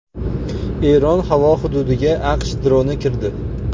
Eron havo hududiga AQSh droni kirdi.